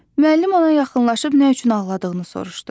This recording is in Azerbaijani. Müəllim ona yaxınlaşıb nə üçün ağladığını soruşdu.